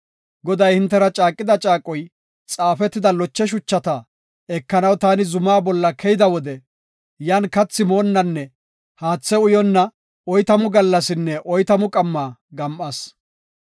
Goday hintera caaqida caaqoy xaafetida loche shuchata ekanaw taani zumaa bolla keyida wode, yan kathi moonnanne haathe uyonna oytamu gallasinne oytamu qamma gam7as.